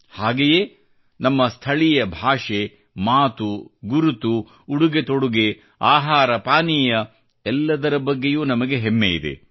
ಹಾಗೆಯೇ ನಮ್ಮ ಸ್ಥಳೀಯ ಭಾಷೆ ಮಾತು ಗುರುತು ಉಡುಗೆತೊಡುಗೆ ಆಹಾರಪಾನೀಯ ಎಲ್ಲದರ ಬಗ್ಗೆಯೂ ನಮಗೆ ಹೆಮ್ಮೆ ಇದೆ